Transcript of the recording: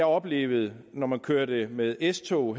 oplevede når man kørte med s tog